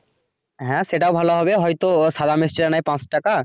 হ্যাঁ সেটাও ভালো হবে হয়তো সাদা মিষ্টি টা নেয় পাচ টাকা।